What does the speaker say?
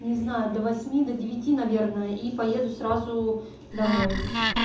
не знаю до восьми до девяти наверное и поеду сразу домой